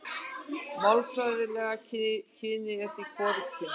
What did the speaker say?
Málfræðilega kynið er því hvorugkyn.